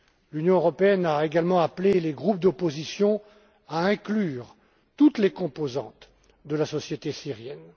L'Union européenne a également appelé les groupes d'opposition à inclure toutes les composantes de la société syrienne.